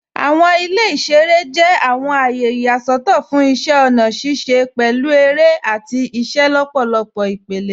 Awọn ilẹ̀ iṣẹ̀rẹ̀ jẹ̀ awọn ayé iyaṣọtọ̀ fún iṣẹ̀ ọ̀na ṣiṣẹ̀, pẹ̀lú èrẹ̀ ati awọn iṣẹlọpọ̀ ipẹ̀lẹ.